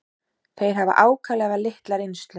Þeir hafa ákaflega litla reynslu.